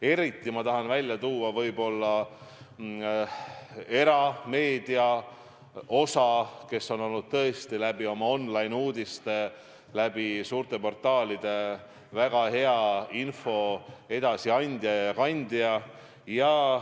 Eriti tahan ma välja tuua erameedia osa, kes on olnud tõesti oma online-uudistega ja suurte portaalidega väga hea info edasiandja ja -kandja.